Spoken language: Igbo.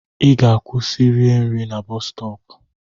Ị ga-akwụsị rie nri na boosu stopu!